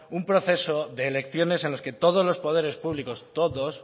un proceso de elecciones en los que todos los poderes públicos todos